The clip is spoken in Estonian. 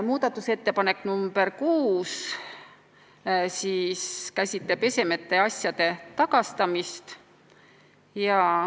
Muudatusettepanek nr 6 käsitleb esemete ja asjade tagastamist.